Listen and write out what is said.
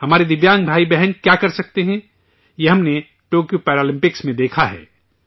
ہمارے دویانگ بھائی بہن کیا کر سکتے ہیں، یہ ہم نے ٹوکیو پیرالمپکس میں دیکھا ہے